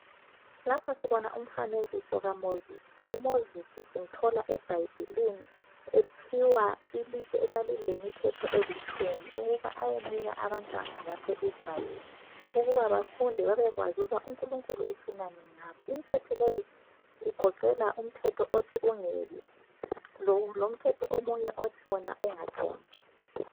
Lapha sibona umfanekiso kaMozisi. UMozisi simthola eBhayibhilini ephiwa ilitshe elalilemithetho elitshumi ukuba ayenika abantwana baseIsrael ukuba bafunde babekwazi ukuba uNkulunkulu ufunani ngabo. Imthetho leyi igoqela umthetho othi ungebi, lomthetho omunye othi wona ungatshontshi.